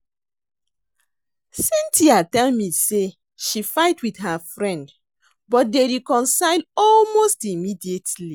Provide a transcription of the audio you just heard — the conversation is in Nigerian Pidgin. Cynthia tell me say she fight with her friend but dey reconcile almost immediately